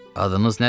Adınız nədir?